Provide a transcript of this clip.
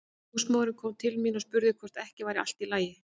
Húsmóðirin kom til mín og spurði hvort ekki væri allt í lagi.